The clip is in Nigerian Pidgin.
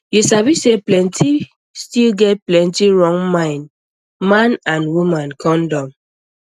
you sabi say people still get plenty wrong mind man and woman condom